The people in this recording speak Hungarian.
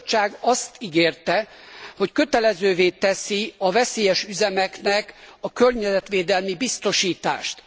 A Bizottság azt ígérte, hogy kötelezővé teszi a veszélyes üzemeknek a környezetvédelmi biztosítást.